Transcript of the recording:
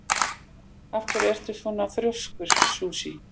Af hverju ertu svona þrjóskur, Susie?